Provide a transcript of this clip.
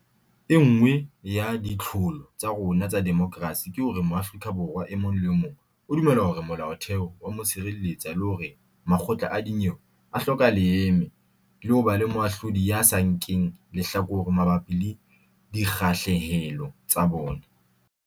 E nngwe ya ditlholo tsa rona tsa demokerasi ke hore Mo-afrika Borwa e mong le e mong o dumela hore Molaotheo o a mo sireletsa le hore makgotla a dinyewe a hloka leeme le ho ba moahlodi ya sa nkeng lehlakore mabapi le dikgahlehelo tsa bona.